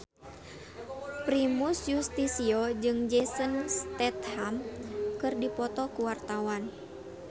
Primus Yustisio jeung Jason Statham keur dipoto ku wartawan